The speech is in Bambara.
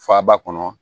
Faba kɔnɔ